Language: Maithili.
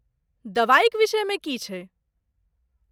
दवाइक विषयमे की छैक?